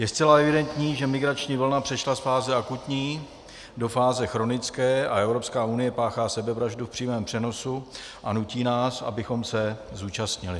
Je zcela evidentní, že migrační vlna přešla z fáze akutní do fáze chronické a Evropská unie páchá sebevraždu v přímém přenosu a nutí nás, abychom se zúčastnili.